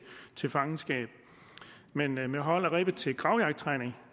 til fangenskab men men med hold af ræve til gravjagttræning